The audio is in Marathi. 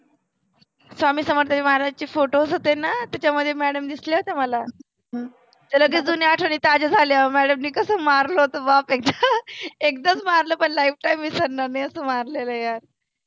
स्वामी समर्थ महाराजाचे photos होते ना त्याच्यामध्ये madam दिसल्या होत्या मला तर लगेच जुण्या आठवनी ताज्या झाल्या madam नी कसं मारल होतं बाप एकदा. एकदाच मारल पण lifetime विसनणार नाही असं मारलेल आहे यार,